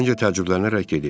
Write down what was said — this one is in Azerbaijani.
Terincə təəccüblənərək dedi.